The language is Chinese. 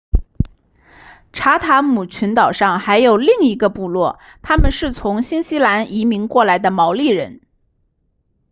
查塔姆群岛上还有另一个部落他们是从新西兰移民过来的毛利人